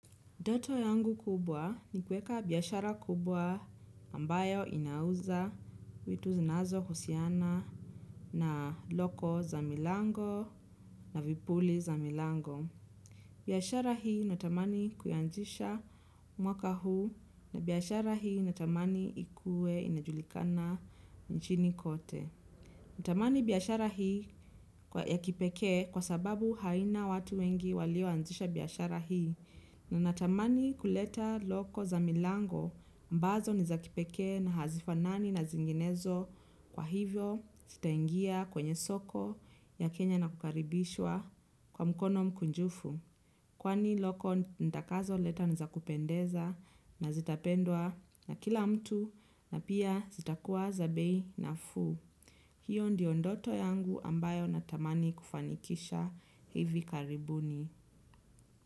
Ndoto yangu kubwa ni kuweka biashara kubwa ambayo inauza vitu zinazohusiana na loko za milango na vipuli za milango. Biashara hii natamani kuanzisha mwaka huu na biashara hii natamani ikue inajulikana nchini kote. Natamani biashara hii ya kipeke kwa sababu haina watu wengi walioanzisha biashara hii na natamani kuleta loko za milango ambazo ni za kipekee na hazifanani na zinginezo kwa hivyo zitaingia kwenye soko ya Kenya na kukaribishwa kwa mkono mkunjufu. Kwani loko nitakazo leta ni zakupendeza na zitapendwa na kila mtu na pia zitakuwa za bei nafuu. Hiyo ndiyo ndoto yangu ambayo natamani kufanikisha hivi karibuni.